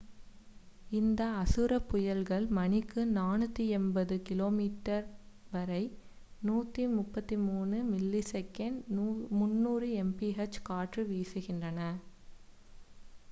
இந்த அசுர புயல்கள் மணிக்கு 480 km/h வரை 133 m/s; 300 mph காற்று வீசுகின்றன